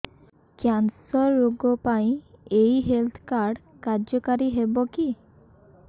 cancer ରୋଗ ପାଇଁ ଏଇ ହେଲ୍ଥ କାର୍ଡ କାର୍ଯ୍ୟକାରି ହେବ କି